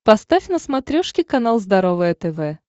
поставь на смотрешке канал здоровое тв